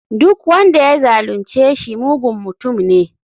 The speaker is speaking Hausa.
Duk wanda ya zalunce shi mugun mutum ne.